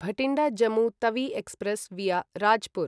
Bathinda Jammu Tawi express via Rajpur